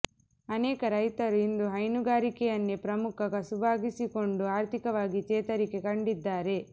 ಅನೇಕ ರೈತರು ಇಂದು ಹೈನುಗಾರಿಕೆಯನ್ನೇ ಪ್ರಮುಖ ಕಸುಬಾಗಿಸಿಕೊಂಡು ಆರ್ಥಿಕವಾಗಿ ಚೇತರಿಕೆ ಕಂಡಿದ್ದಾರೆ